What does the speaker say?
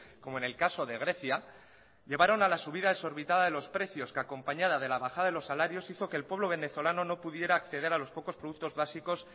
como en el caso de grecia llevaron a la subida desorbitada de los precios que acompañada de la bajada de los salarios hizo que el pueblo venezolano no pudiera acceder a los pocos productos básicos